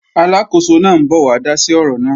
Aláàkóso náà ń bọ̀ wá dá sí ọ̀rọ̀ náà